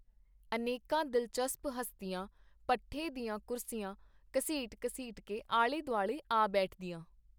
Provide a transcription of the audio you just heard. ਅਨੇਕਾਂ ਦਿਲਚਸਪ ਹਸਤੀਆਂ ਪੱਠੇ ਦੀਆਂ ਕੁਰਸੀਆਂ ਘਸੀਟ-ਘਸੀਟ ਕੇ ਆਲੇ-ਦੁਆਲੇ ਆ ਬੈਠਦੀਆਂ.